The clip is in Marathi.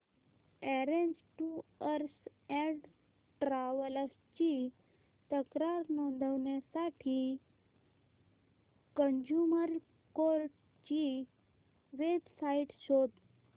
ऑरेंज टूअर्स अँड ट्रॅवल्स ची तक्रार नोंदवण्यासाठी कंझ्युमर कोर्ट ची वेब साइट शोध